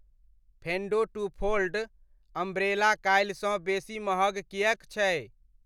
फेंडो two fold umbrella काल्हिसँ बेसी महग किएक छै?